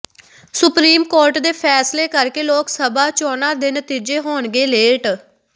supreme court ਦੇ ਫੈਸਲੇ ਕਰਕੇ ਲੋਕ ਸਭਾ ਚੋਣਾਂ ਦੇ ਨਤੀਜੇ ਹੋਣਗੇ ਲੇਟ